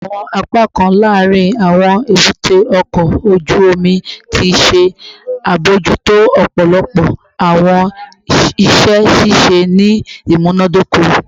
Awọn apakan laarin awọn ebute oko oju omi ti ṣe abojuto ọpọlọpọ awọn iṣẹ ṣiṣe ni imunadoko